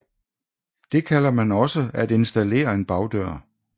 Det kalder man også at installere en bagdør